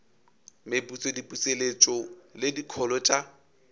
meputso diputseletšo le dikholo tša